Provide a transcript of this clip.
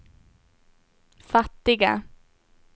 fattiga